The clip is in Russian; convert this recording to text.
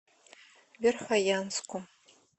верхоянску